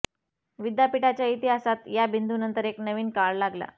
विद्यापीठाच्या इतिहास या बिंदू नंतर एक नवीन काळ लागला